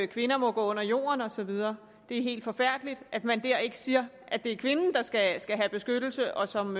kvinder må gå under jorden og så videre det er helt forfærdeligt at man der ikke siger at det er kvinden der skal skal have beskyttelse og som